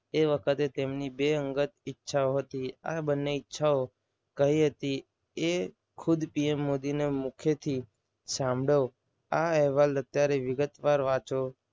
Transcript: એ વખતે તેમને બે અંગત ઈચ્છાઓ હતી. આ બંને ઈચ્છાઓ કહી હતી. એ ખુદ PM મોદીના મુખથી સાંભળો. આ અહેવાલ અત્યારે વિગતવાર વાંચો.